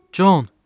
Con.